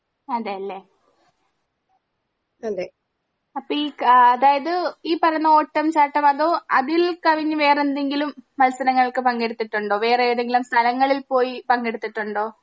അതെ ലെ അപ്പൊ ഈ അതായത് ഈ പറയുന്ന ഓട്ടം ചട്ടം അതോ അതിൽ കവിഞ്ഞ് വേറെന്തെങ്കിലും മത്സരങ്ങൾക്ക് പങ്കെടുത്തിട്ടുണ്ടോ വേറെ ഏതെങ്കിലും സ്ഥലങ്ങളിൽ പോയി പങ്കെടുത്തിട്ടുണ്ടോ?